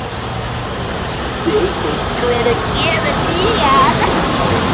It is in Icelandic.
Teitný, hvenær kemur nían?